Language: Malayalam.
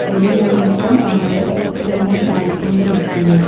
ഒരു മനുഷ്യൻ ഏഹ് അവിടെ തൂണേ ചാരി കൊണ്ട് നിക്കുന്നു.